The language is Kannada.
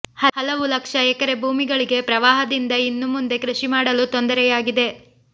ಹಲವು ಲಕ್ಷ ಎಕರೆ ಭೂಮಿಗಳಿಗೆ ಪ್ರವಾಹದಿಂದ ಇನ್ನು ಮುಂದೆ ಕೃಷಿ ಮಾಡಲು ತೊಂದರೆಯಾಗಿದೆ